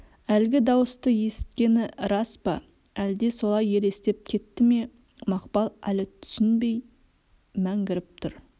әлгі дауысты есіткені рас па әлде солай елестеп кетті ме мақпал әлі түсінбей мәңгіріп тұр